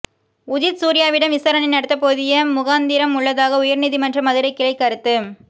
உதித் சூர்யாவிடம் விசாரணை நடத்த போதிய முகாந்திரம் உள்ளதாக உயர்நீதிமன்ற மதுரைக் கிளை கருத்து